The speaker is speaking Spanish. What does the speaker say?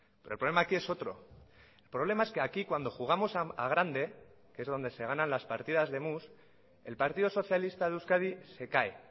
pero el problema aquí es otro el problema es que aquí cuando jugamos a grande que es donde se ganan las partidas de mus el partido socialista de euskadi se cae